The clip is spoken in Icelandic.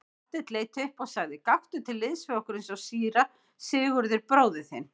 Marteinn leit upp og sagði:-Gakktu til liðs við okkur eins og síra Sigurður bróðir þinn.